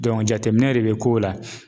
jateminɛ de bɛ kow la